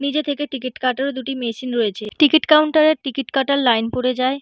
নিজে থেকে টিকিট কাটারও দুটি মেশিন রয়েছে। টিকিট কাউন্টার এ টিকিট কাটার লাইন পড়ে যায়।